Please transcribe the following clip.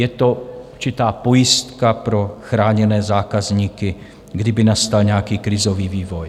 Je to určitá pojistka pro chráněné zákazníky, kdyby nastal nějaký krizový vývoj.